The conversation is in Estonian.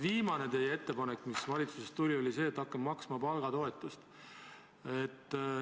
Viimane ettepanek, mis valitsusest tuli, oli see, et hakkame maksma palgatoetust.